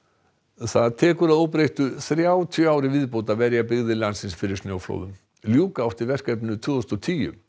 það tekur að óbreyttu þrjátíu ár í viðbót að verja byggðir landsins fyrir snjóflóðum ljúka átti verkefninu tvö þúsund og tíu